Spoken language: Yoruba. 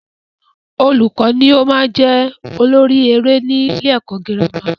Olùkọ́ ni o maá n jẹ́ olórí eré ni ilé ẹ̀kọ́ girama